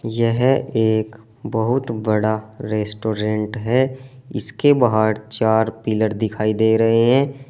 यह एक बहुत बड़ा रेस्टोरेंट है इसके बाहर चार पिलर दिखाई दे रहे हैं।